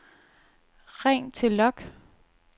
ring til log